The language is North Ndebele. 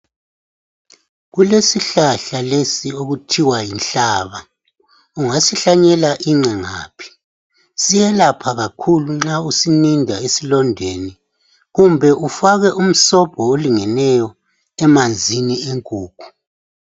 Kulesihlahla lesi okuthiwa yinhlaba. Ungasihlanyela ingqe kungaphi. Siyelapha kakhulu nxa usininda esilondeni. Kumbe ufake umsobho olingeneyo, emanzini enkukhu.